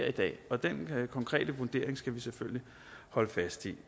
i dag og den konkrete vurdering skal vi selvfølgelig holde fast i